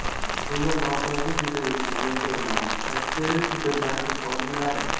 Tizimda nosozlik yuzaga kelgan ko‘rinadi”, ta’kidlaydi supermarket xodimlari.